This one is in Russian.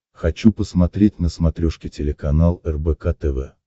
хочу посмотреть на смотрешке телеканал рбк тв